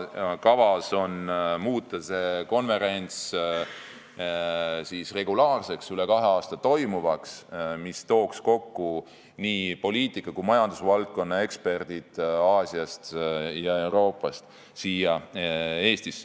Kavas on muuta see konverents regulaarseks, üle kahe aasta toimuvaks, see tooks Eestisse kokku nii poliitika- kui ka majandusvaldkonna eksperdid Aasiast ja Euroopast.